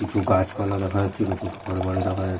কিছু গাছপালা দেখা যাচ্ছে কিছু ঘরবাড়ি দেখা যাচ্ছে।